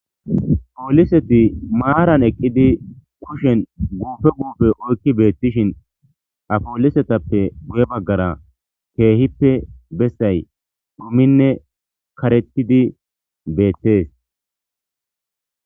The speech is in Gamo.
Poliseti maranni eqiddi kushshenni gupe gupe oyikki betishshinn haa polisetappe guye bagara kehippe besayi kehippe dhuminne karettidi betees